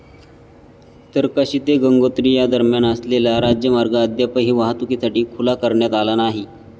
त्तरकाशी ते गंगोत्री या दरम्यान असलेला राजमार्ग अद्यापही वाहतूकीसाठी खुला करण्यात आला नाही.